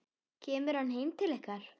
Kemur hann heim til ykkar?